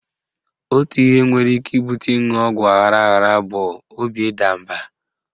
Otu ihe nwere ike ibute ịṅụ ọgwụ aghara aghara bụ obi ịda mba.